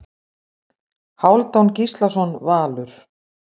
Hálfdán Gíslason Valur